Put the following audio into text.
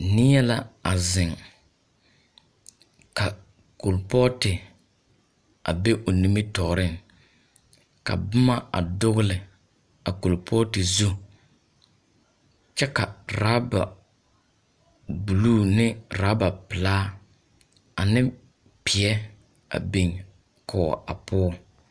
Neɛ na a zeŋ, ka kolpɔɔte a be o nimitɔɔreŋ. Ka boma a dogele a korpɔɔte zu kyɛ ka raba buluu ne raba pelaa aneŋ peɛ a biŋ poɔ a poɔ.